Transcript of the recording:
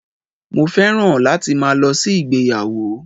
Mo fẹ́ràn láti máa lo sí ìgbéyàwó